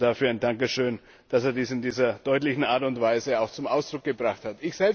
Dafür ein Dankeschön, dass er dies in dieser deutlichen Art und Weise zum Ausdruck gebracht hat.